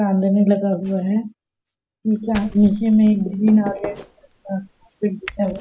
सामने में लगा हुआ है निचा नीचे में ग्रीन ऑरेंज कलर का कारपेट बिछा हुआ है।